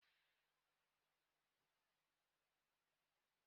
Ọ ga-amasị m iri gari echi.